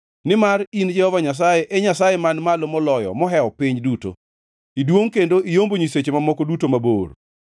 Nimar in Jehova Nyasaye, e Nyasaye Man Malo Moloyo mohewo piny duto; iduongʼ kendo iyombo nyiseche mamoko duto mabor.